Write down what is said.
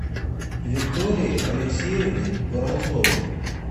виктории алексеевне воронцовой